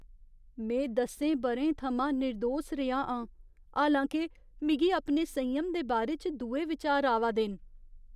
में दसें ब'रें थमां निरदोस रेहा आं, हालांके मिगी अपने संयम दे बारे च दुए विचार आवा दे न।